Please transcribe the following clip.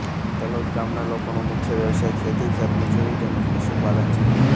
તલોદ ગામના લોકોનો મુખ્ય વ્યવસાય ખેતી ખેતમજૂરી તેમ જ પશુપાલન છે